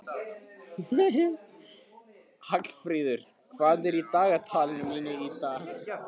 Hallfríður, hvað er í dagatalinu mínu í dag?